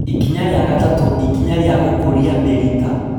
Ikinya rĩa gatatũ, ikinya rĩa gũkũria mĩrita